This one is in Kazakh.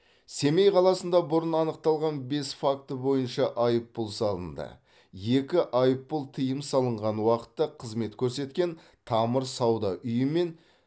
семей қаласында бұрын анықталған бес факті бойынша айыппұл салынды екі айыппұл тыйым салынған уақытта қызмет көрсеткен тамыр сауда үйі мен